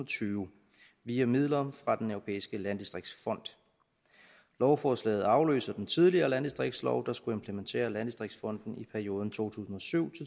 tyve via midler fra den europæiske landdistrikterne lovforslaget afløser den tidligere landdistriktslov der skulle implementere landdistriktsfonden i perioden to tusind og syv